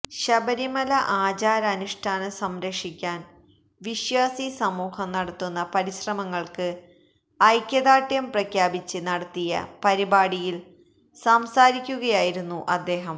ശബരിമല ആചാര അനുഷ്ഠാന സംരക്ഷിക്കാന് വിശ്വാസി സമൂഹം നടത്തുന്ന പരിശ്രമങ്ങള്ക്ക് ഐക്യദാര്ഢ്യം പ്രഖ്യാപിച്ച് നടത്തിയ പരിപാടിയില് സംസാരിക്കുകയായിരുന്നു അദ്ദേഹം